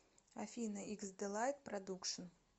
афина иксдэлайт продукшн